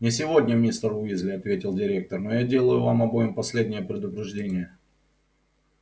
не сегодня мистер уизли ответил директор но я делаю вам обоим последнее предупреждение